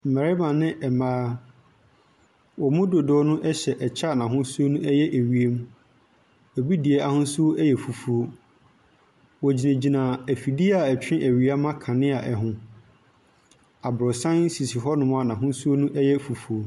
Mbɛrema ne mbaa, ɔmo dodoɔ no ɛhyɛ ɛkyɛ n'ahosuo no ɛyɛ ewiem. Obi deɛ ahosuo ɛyɛ fufuuo. Wogyinagyina efidie a ɛtwe ewia ma kanea no ɛho. Aborosan sisi hɔ nom a n'ahosuo no ɛyɛ fufuuo.